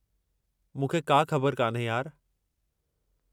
मूंखे का ख़बरु कान्हे, यार।